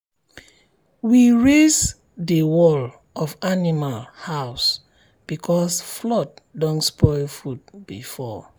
we raise the wall of animal house because flood don spoil food before.